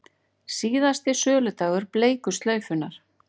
Síðasti söludagur bleiku slaufunnar